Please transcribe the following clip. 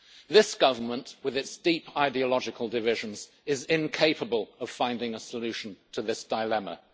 This Government, with its deep ideological divisions, is incapable of finding a solution to this dilemma.